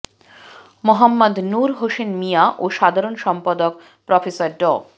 মোহাম্মদ নূর হোসেন মিঞা ও সাধারণ সম্পাদক প্রফেসর ড